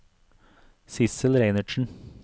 Sidsel Reinertsen